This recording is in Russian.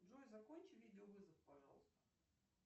джой закончи видео вызов пожалуйста